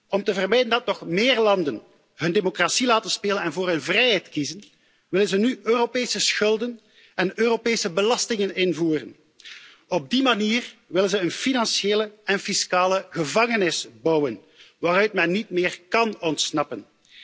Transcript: Om te vermijden dat nog meer landen hun democratie laten spelen en voor hun vrijheid kiezen, willen ze nu Europese schulden en Europese belastingen invoeren. Op die manier willen ze een financiële en fiscale gevangenis bouwen waaruit men niet meer kan ontsnappen.